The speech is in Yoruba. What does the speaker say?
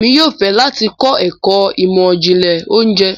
Emi yóò fẹ lati kọ ẹkọ imọ-jinlẹ ounjẹ